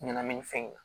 Ɲɛnamini fɛn in